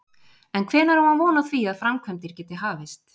En hvenær á hann von á því að framkvæmdir geti hafist?